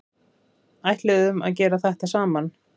Ætluðum að gera þetta saman